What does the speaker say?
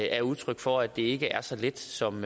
er udtryk for at det ikke er så let som